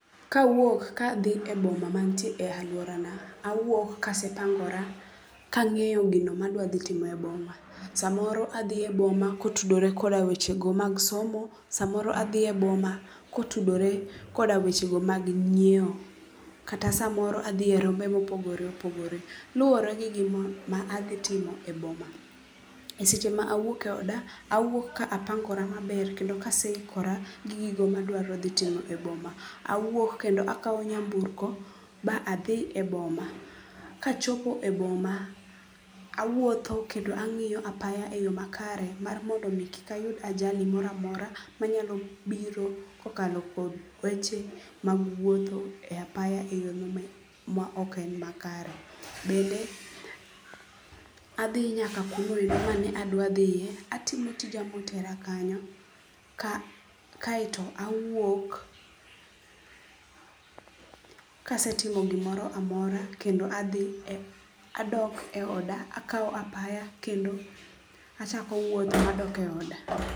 Kawuok ka athi e boma manitie e aluorana, awuok ka asepango'ra kangi'o gima adwathitimo e boma, samoro athie boma kotudore koda wechogo mag somo, samoro athie boma kotudore koda wechego mag nyiewo, kata samaro athie romogo ma opogore opogore, luore gi gima athitimo e boma, e seche ma awuok e oda awuok ka apangora maber kendo kaseikora gi gigo ma adwarothitimo e boma awuok kendo akawo nyamburko ba athi e boma , kachopo e boma , awuotho kendo angi'yo e apaya e yo makare mar mondo mi kik ayud ajali mora mora manyalo biro kokalo kuom weche mag wuotho e apaya e yo ma ok en makare, bende athi nyaka kuondegoende ma adwathie, atimo tija mo otera kanyo kaeto awuok ka asetimo gimoro amora kendo athi adok e oda akawo apaya kendo achoko wuoth madoke oda.